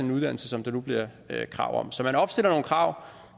en uddannelse som der nu bliver krav om så man opstiller nogle krav